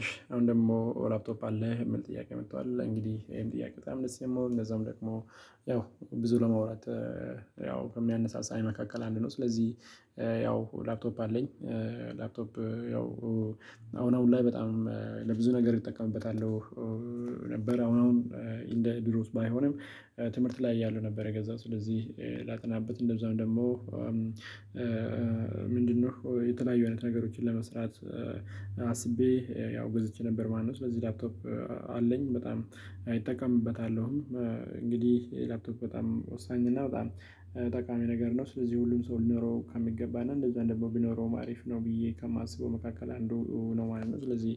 እሺ አሁን ደግሞ ላፕቶፕ አለህ የሚል ጥያቄ መጥቷል እንግዲህ ይሄን ጥያቄ በጣም ደስ የሚሆን እንደዛውም ደግሞ ያው ብዙ ለመውራት ያው ከሚያነሳሳኝ መካከል አንድ ነው። ስለዚህ ያው ላፕቶፕ አለኝ። ላፕቶፕ ያው አሁን አሁን ላይ በጣም ለብዙ ነገር እጠቀምበታለሁ። ነበር አሁን አሁን እንደ ቢሮውስ ባይሆንም ትምህርት ላይ ያለው ነበር። የገዛው ስለዚህ ላጠናበት እንደዛው ደግሞ ምንድነው የተለያዩ አይነት ነገሮችን ለመስራት አስቤ ያው ገዘቼ ነበር ማለት ነው። ለዚህ ላፕቶፕ አለኝ በጣም እጠቀምበታለሁም እንግዲህ የላፕቶፕ በጣም ወሳኝ እና በጣም ጠቃሚ ነገር ነው። ስለዚህ ሁሉም ሰው ሊኖረው ከሚገባና እንደዛ ደግሞ ቢኖረውም አሪፍ ነው ብዬ ከማስበው መካከል አንዱ ነው ማለት ነው። ስለዚህ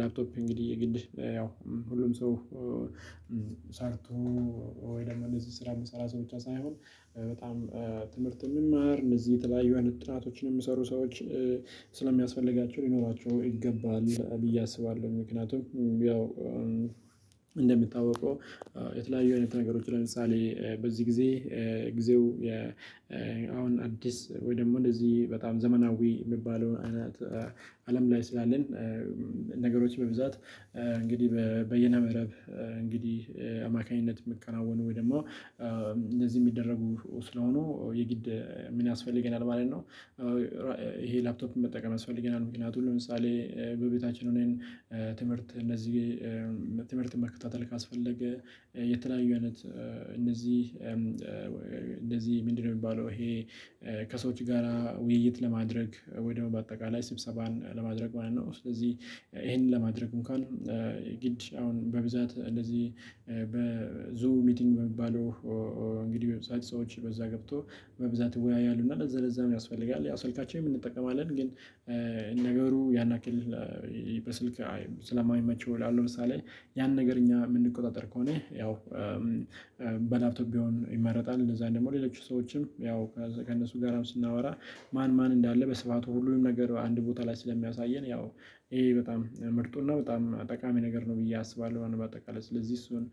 ላፕቶፕ እንግዲህ ግድ ያው ሁሉም ሰው ሰርቶ ወይ ደግሞ እነዚህ ስራ መሰራት ብቻ ሳይሆን በጣም ትምህርት የሚማር እነዚህ የተለያዩ ጥናቶችን የሚሰሩ ሰዎች ስለሚያስፈልጋቸው ሊኖራቸው ይገባል ብዬ አስባለሁ። ምክንያቱም ያው እንደሚታወቀው የተለያዩ አይነት ነገሮች ለምሳሌ በዚህ ጊዜ ጊዜው አሁን አዲስ ወይ ደግሞ እንደዚህ በጣም ዘመናዊ የሚባለውን አይነት አለም ላይ ስላለን ነገሮች በብዛት እንግዲህ በየነ መረብ እንግዲህ አማካኝነት የሚከናወኑ ወይ ደግሞ እንደዚህ የሚደረጉ ስለሆኑ የግድ ምን ያስፈልገናል ማለት ነው። ይሄ ላፕቶፕም መጠቀም ያስፈልገናል። ምክንያቱም ለምሳሌ በቤታችን ሆነን ትምህርት እነዚህ ትምህርት መከታተል ካስፈለገ የተለያዩ አይነት እነዚህ እንደዚህ ምንድነው የሚባለው ይሄ ከሰዎች ጋራ ውይይት ለማድረግ ወይ ደግሞ በአጠቃላይ ስብሰባን ለማድረግ ማለት ነው። ስለዚህ ይሄንን ለማድረግም እኳን ግድ አሁን በብዛት እንደዚህ በዙ ሚቲንግ በሚባለው ቪድዮ ዌብሳይት ሰዎች በዛ ገብቶ በብዛት ይወያያሉ። እና ለዛ ለዛም ያስፈልጋል ያው ስልካችን እንጠቀማለን። ግን ነገሩ ያናክልህ በስልክ ስለማይመቸው ላለው ለምሳሌ ያን ነገር እኛ የምንቆጣጠር ከሆነ ያው በላፕቶፕ ቢሆን ይመረጣል። እንደዛ ደግሞ ሌሎች ሰዎችም ያው ከእነሱ ጋራም ስናወራ ማን ማን እንዳለ በስብሃቱ ሁሉንም ነገር አንድ ቦታ ላይ ስለሚያሳየን ያው ይሄ በጣም ምርጡና በጣም ጠቃሚ ነገር ነው ብዬ አስባለሁ። በአጠቃላይ ስለዚህ እሱን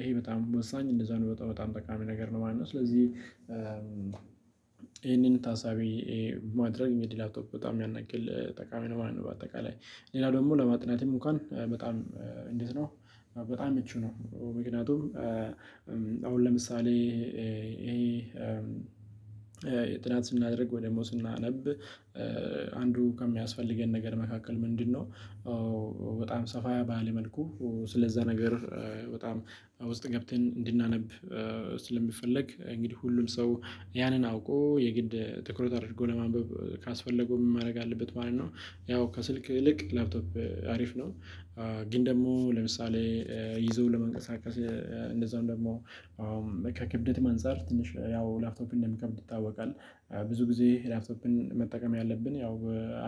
ይሄ በጣም ወሳኝ እንደዛ ነው በጣም በጣም ጠቃሚ ነገር ነው ማለት ነው። ስለዚህ ይሄንን ታሳቢ ማድረግ ሚድ ላፕቶፕ በጣም ያንአክል ጠቃሚ ነው። በአጠቃላይ ሌላ ደግሞ ለማጥናትም እንኳን በጣም እንዴት ነው? በጣም ምቹ ነው። ምክንያቱም አሁን ለምሳሌ የጥናት ስናደርግ ወይ ደግሞ ስናነብ አንዱ ከሚያስፈልገን ነገር መካከል ምንድነው በጣም ሰፋ ባለ መልኩ ስለዛ ነገር በጣም ውስጥ ገብተን እንድናነብ ስለሚፈለግ እንግዲህ ሁሉም ሰው ያንን አውቆ የግድ ትኩረት አድርጎ ለማንበብ ካስፈለገው ምን ማድረግ አለበት ማለት ነው? ያው ከስልክ ይልቅ ላፕቶፕ አሪፍ ነው። ግን ደግሞ ለምሳሌ ይዞ ለመንቀሳቀስ እንደዛው ደግሞ ከክብደት አንፃር ትንሽ ያው ላፕቶፕ እንደሚከብድ ይታወቃል። ብዙ ጊዜ ላፕቶፕን መጠቀም ያለብን ያው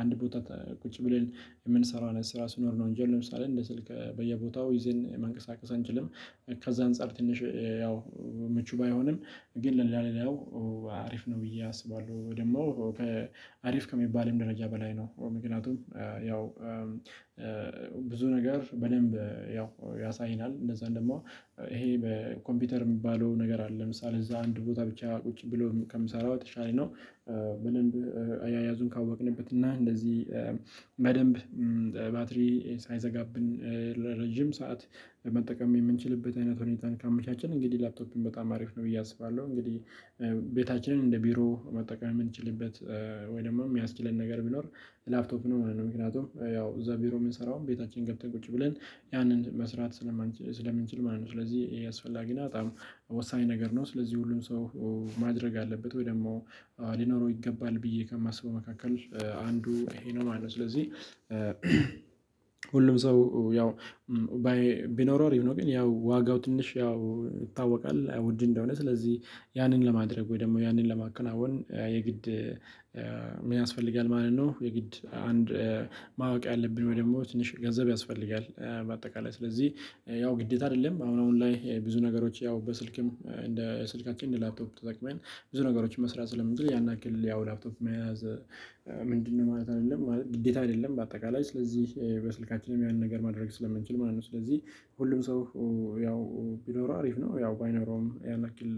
አንድ ቦታ ቁጭ ብለን የምንሰራው ስራ ሲኖር ነው እንጂ ለምሳሌ እንደ ስልክ በየቦታው ይዘን መንቀሳቀስ አንችልም። ከዛ አንፃር ትንሽ ያው ምቹ ባይሆንም ግን ለሌላ ለሌላው አሪፍ ነው ብዬ አስባለሁ። ወይ ደግሞ ከአሪፍ ከሚባልም ደረጃ በላይ ነው። በምክንያቱም ያው ብዙ ነገር በደንብ ያው ያሳይናል እንደዛ ደግሞ ይሄ በኮምፒውተር የሚባለው ነገር አለ ለምሳሌ እዛ አንድ ቦታ ብቻ ቁጭ ብሎ ከምሰራው የተሻለ ነው። በደንብ አያያዙን ካወቅንበት እና እንደዚህ በደንብ ባትሪ ሳይዘጋብን ለረጅም ሰዓት ለመጠቀም የምንችልበት አይነት ሁኔታን ካመቻችን እንግዲህ ላፕቶፕን በጣም አሪፍ ነው ብዬ አስባለሁ። እንግዲህ ቤታችንን እንደ ቢሮ መጠቀም የምንችልበት ወይም ደግሞ የሚያስችለን ነገር ቢኖር ላፕቶፕ ነው ማለት ነው። ምክንያቱም ያው እዛ ቢሮ የምንሰራውም ቤታችን ገብተን ቁጭ ብለን ያንን መስራት ስለምንችል ማለት ነው። ስለዚህ አስፈላጊና በጣም ወሳኝ ነገር ነው። ስለዚህ ሁሉም ሰው ማድረግ አለበት ወይ ደግሞ ሊኖረው ይገባል ብዬ ከማስበው መካከል አንዱ ይሄ ነው ማለት ነው። ስለዚህ ሁሉም ሰው ያው ቢኖረው አሪፍ ነው። ግን ያው ዋጋው ትንሽ ያው ይታወቃል ውድ እንደሆነ ስለዚህ ያንን ለማድረግ ወይ ደግሞ ያንን ለማከናወን የግድ ምን ያስፈልጋል ማለት ነው? የግድ አንድ ማወቅ ያለብን ወይ ደግሞ ትንሽ ገንዘብ ያስፈልጋል። በአጠቃላይ ስለዚህ ያው ግዴታ አይደለም። አሁን አሁን ላይ ብዙ ነገሮች ያው በስልክም እንደ ስልካችን እንደ ላፕቶፕ ተጠቅመን ብዙ ነገሮችን መስራት ስለምንችል ያን ያክል ያው ላፕቶፕ መያዝ ምንድነው ማለት አይደለም ግዴታ አይደለም። በአጠቃላይ ስለዚህ በስልካችንም ያንን ነገር ማድረግ ስለምንችል ማለት ነው። ስለዚህ ሁሉም ሰው ያው ቢኖረው አሪፍ ነው። ያው ባይኖረውም ያን ያክል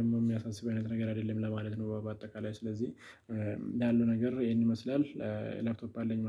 ደግሞ ሚያሳስበኝ ነገር አይደለም ለማለት ነው። በአጠቃላይ ስለዚህ ያሉ ነገር ይሄን ይመስላል። ላፕቶፕ አለኝ